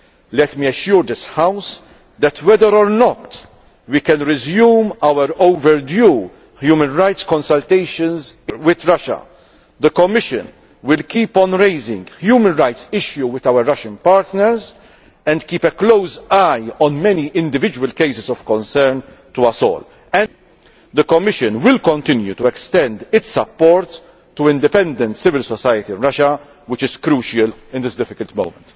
Let me assure this House that whether or not we can resume our overdue human rights consultations with Russia, the Commission will keep on raising human rights issues with our Russian partners and keep a close eye on many individual cases of concern to us all. Furthermore, the Commission will continue to extend its support to independent civil society in Russia, which is crucial at this difficult moment.